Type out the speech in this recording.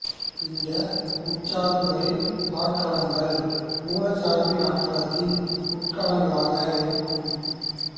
இந்த உட்சார்புகளின் ஆட்களங்கள் மூலச் சார்பின் ஆட்களத்தின் உட்கணங்களாக இருக்கும்